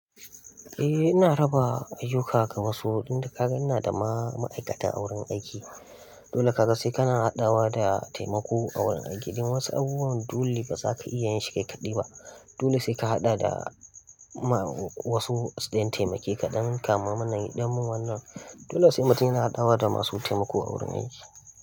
Eh ina raba ayuka ga wasu, inda kaga ina da ma-ma'aikata a wurin aiki. Dole ka ga sai ka na haɗawa da taimako a wurin aiki. Don wasu abubuwan dole ba za ka iya yin shi kaikaɗai ba. Dole sai ka haɗa da ma wasu don taimake ka don kama mana yi don mun wannan. Dole sai mutum yana haɗawa da masu taimako a wurin aiki.